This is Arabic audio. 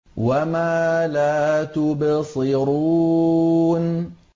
وَمَا لَا تُبْصِرُونَ